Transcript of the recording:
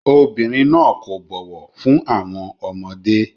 Obìnrin náà kò bọ̀wọ̀ fún àwọn ọmọdé.